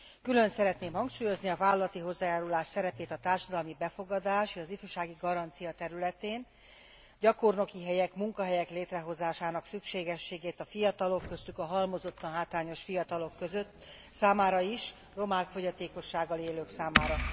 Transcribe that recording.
Külön szeretném hangsúlyozni a vállalati hozzájárulás szerepét a társadalmi befogadás, az ifjúsági garancia területén, gyakornoki helyek, munkahelyek létrehozásának szükségességét a fiatalok, köztük a halmozottan hátrányos fiatalok számára is, romák, fogyatékossággal élők számára.